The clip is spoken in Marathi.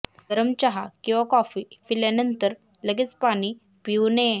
गरम चहा किंवा कॉफी पिल्यानंतर लगेच पाणी पिऊ नये